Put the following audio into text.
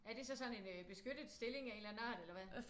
Er det så sådan en beskyttet stilling af en eller anden art eller hvad?